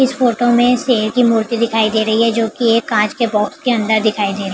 इस फोटो में शेर की मूर्ति दिखाई दे रही है जो की एक काँच के बॉक्स के अंदर दिखाई दे --